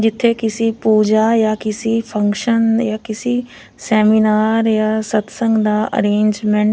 ਜਿਥੇ ਕਿਸੀ ਪੂਜਾ ਜਾਂ ਕਿਸੀ ਫੰਕਸ਼ਨ ਜਾਂ ਕਿਸੀ ਸੈਮੀਨਾਰ ਜਾ ਸਤਸੰਗ ਦਾ ਅਰੇਂਜਮੈਂਟ --